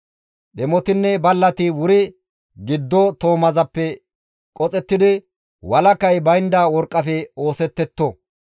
Dhemotinne ballati wuri giddo toomazappe qoxettidi walakay baynda worqqafe oosettetto.